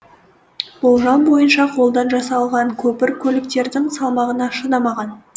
болжам бойынша қолдан жасалған көпір көліктердің салмағына шыдамаған